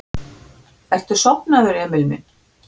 Ertu sofnaður, Emil minn?